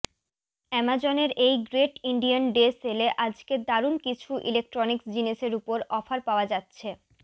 অ্যামাজনের এই great Indian day সেলে আজকে দারুন কিছু ইলেক্ট্রনিক জিনিসের ওপর অফার পাওয়া যাচ্ছে